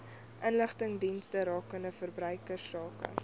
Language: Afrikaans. inligtingsdienste rakende verbruikersake